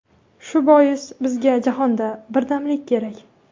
Shu bois bizga jahonda birdamlik kerak”.